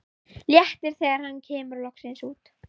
Léttir þegar hann kemur loksins út.